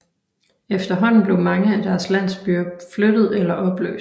Efterhånden blev mange af deres landsbyer flyttet eller opløst